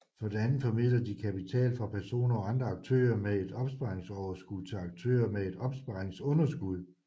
For det andet formidler de kapital fra personer og andre aktører med et opsparingsoverskud til aktører med et opsparingsunderskud